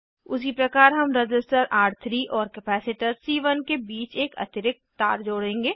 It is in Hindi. उसीप्रकार हम रज़िस्टर र3 और कपैसिटर सी1 के बीच एक अतिरिक्त तार जोड़ेंगे